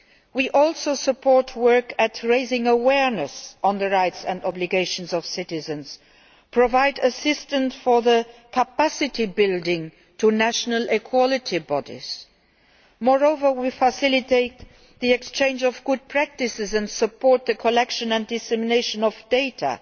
We also support work aimed at raising awareness on the rights and obligations of citizens, and provide assistance for capacity building through national equality bodies. Moreover, we facilitate the exchange of good practices and support the collection and dissemination of data.